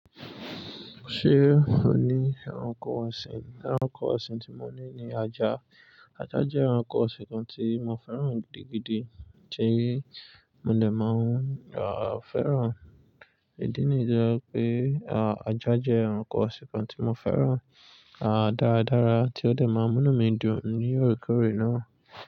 Ṣé ò ní ẹranko ọ̀sìn? Ẹranko ọ̀sìn tí mo ní ni ajá. Ajá jẹ́ ẹranko ọ̀sìn kan tí mo fẹ́ràn gidi gidi tí mo lè máa ń fẹ́ràn. Ìdí nìyi tó jẹ́ pé, ajá jẹ́ ẹranko ọ̀sìn kan tí mo fẹ́ràn, dáradára tí ó dè máa ń mú mí dùn ní òrékòóré náà.